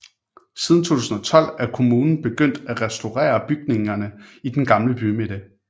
Siden 2012 er kommunen begyndt at restaurere bygningerne i den gamle bymidte